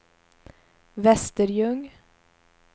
Västerljung